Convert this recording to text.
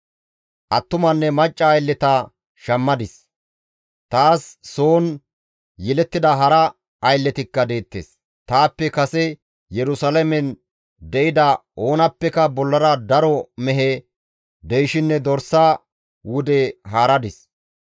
Attumanne macca aylleta shammadis; taas soon yelettida hara aylletikka deettes; taappe kase Yerusalaamen de7ida oonappeka bollara daro mehe, deyshinne dorsa wude haaradis.